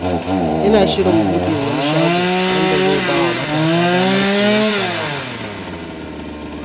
Ina shirin buɗe wani shago wanda zai ba wa matasa damar koyon sana’a.